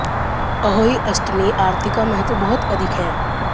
अहोई अष्टमी आरती का महत्व बहुत अधिक है